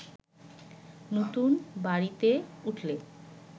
নতুনবাড়িতে উঠলে